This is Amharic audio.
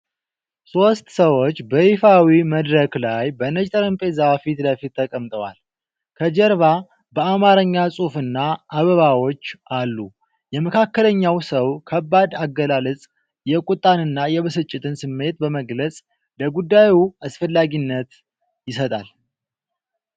ሶስት ሰዎች በይፋዊ መድረክ ላይ በነጭ ጠረጴዛ ፊት ለፊት ተቀምጠዋል፤ ከጀርባ በአማርኛ ጽሑፍና አበባዎች አሉ። የመካከለኛው ሰው ከባድ አገላለጽ የቁጣንና የብስጭትን ስሜት በመግለጽ ለጉዳዩ አስፈላጊነት ይሰጣል።